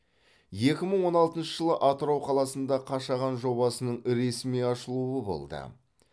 екі мың он алтыншы жылы атырау қаласында қашаған жобасының ресми ашылуы болды